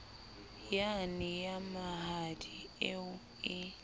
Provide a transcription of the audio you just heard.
yane ya mahadi eo e